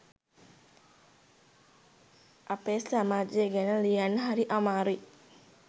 අපේ සමාජය ගැන ලියන්න හරි අමාරුයි